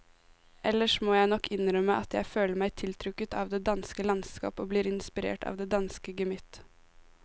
Ellers må jeg nok innrømme at jeg føler meg tiltrukket av det danske landskap og blir inspirert av det danske gemytt.